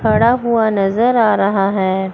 खड़ा हुआ नजर आ रहा है।